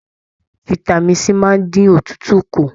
Fitami C máa n dín òtútù kú.